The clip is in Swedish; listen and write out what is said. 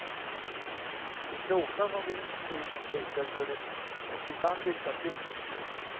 De kloka som vill dit sliter för det och ibland lyckas de.